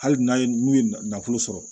Hali n'a ye n'u ye nafolo sɔrɔ